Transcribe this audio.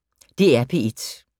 DR P1